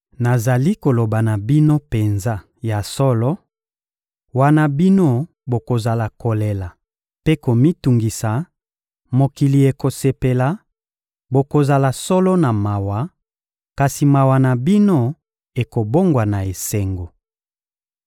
Nazali koloba na bino penza ya solo: wana bino bokozala kolela mpe komitungisa, mokili ekosepela; bokozala solo na mawa, kasi mawa na bino ekobongwana esengo.